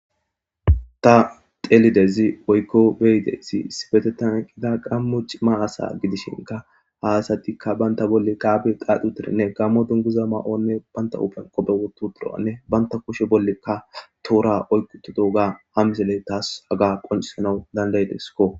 Ta xeelidayssi woykko be7idayssi issippeteththan eqida gaamo cima asa gidishinkka. ha asati banta bolla tabiya xaaxid gaamo dunguza mayonne bantta huphphiya qophe woththi uttidoganne banta kushshe bolla toora oyqi uttidoga ha misile tas haga qocissanas danda7ideskko.